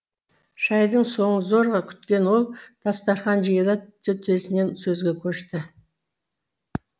шайдың соңын зорға күткен ол дастарқан жиыла төтесінен сөзге көшті